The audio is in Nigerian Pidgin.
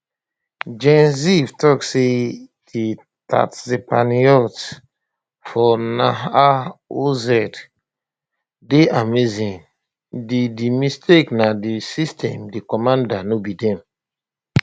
gen ziv tok say di tatzpitaniyot for nahal oz dey amazing di di mistake na di system di commanders no be dem